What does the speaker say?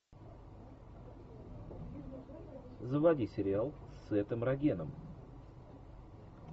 заводи сериал с сетом рогеном